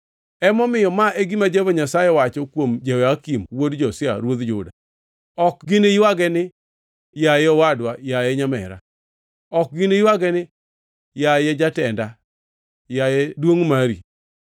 Emomiyo ma e gima Jehova Nyasaye wacho kuom Jehoyakim wuod Josia ruodh Juda: “Ok giniywage ni: ‘Yaye, owadwa! Yaye, nyamera!’ Ok giniywage ni: ‘Yaye, jatenda! Yaye, duongʼ mari!’